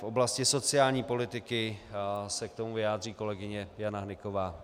V oblasti sociální politiky se k tomu vyjádří kolegyně Jana Hnyková.